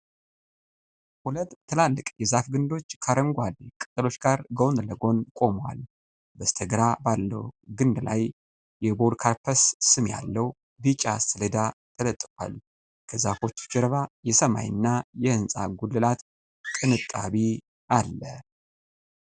ሁለት ትላልቅ የዛፍ ግንዶች ከአረንጓዴ ቅጠሎች ጋር ጎን ለጎን ቆመዋል። በስተግራ ባለው ግንድ ላይ የ'ፖዶካርፐስ' ስም ያለው ቢጫ ሰሌዳ ተለጥፏል። ከዛፎቹ ጀርባ የሰማይና የህንጻ ጉልላት ቅንጣቢ አለ።